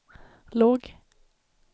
låg